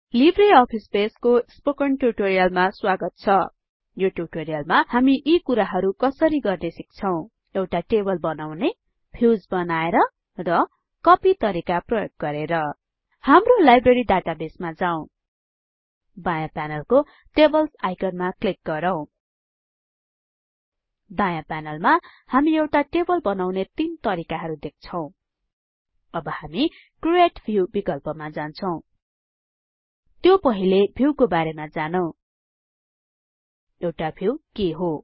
Libre Office बेसको spoken ट्युटोरियलमा स्वागत छ यो ट्युटोरियलमा हामी यी कुराहरु कसरी गर्ने सिक्छौं एउटा टेबल बनाउने क व्यूज बनाएर र ख कपि तरिका प्रयोग गरेर हाम्रो लाइब्रेरी डाटाबेसमा जाउँ बायाँ प्यानलको टेबल्स आइकनमा क्लिक गरौँ दायाँ प्यानलमा हामी एउटा टेबल बनाउने तीन तरिकाहरु देख्छौं अब हामी क्रिएट व्यू विकल्पमा जान्छौं त्यो पहिले भ्युको बारेमा जानौं एउटा भ्यु के हो